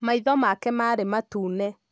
Maitho make marĩ matune.